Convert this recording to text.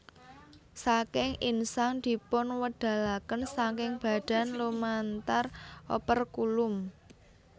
Saking insang dipunwedalaken saking badan lumantar operkulum